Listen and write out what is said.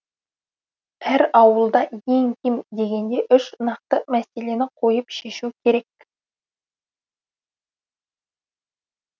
әр ауылда ең кем дегенде үш нақты мәселені қойып шешу керек